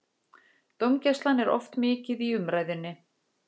Dómgæslan er oft mikið í umræðunni.